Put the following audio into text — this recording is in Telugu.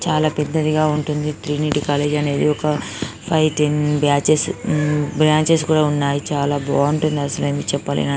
చాల పెద్దదిగా ఉంటుంది ట్రినిటీ కాలేజీ అనేది ఒక five ten batches um branches కూడా ఉన్నాయ్. చాల బావుంటుంది అసలేమీ చెప్పలేని --